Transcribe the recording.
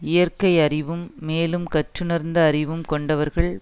இயற்கையறிவும் மேலும் கற்றுணர்ந்த அறிவும் கொண்டவர்கள்